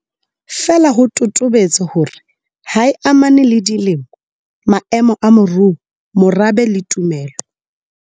Feela ho totobetse hore ha e amane le dilemo, maemo a moruo, morabe le tumelo.